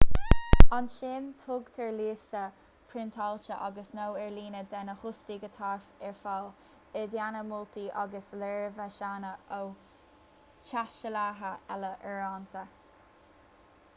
ansin tugtar liosta priontáilte agus/nó ar líne de na hóstaigh atá ar fáil i dteannta moltaí agus léirmheasanna ó thaistealaithe eile uaireanta